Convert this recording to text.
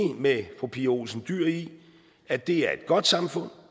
med fru pia olsen dyhr i at det er et godt samfund